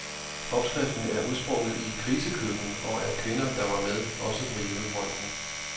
Opskriften er udsprunget i et krisekøkken og af kvinder, der var med, også på hjemmefronten.